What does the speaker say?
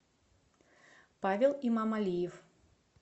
павел имамалиев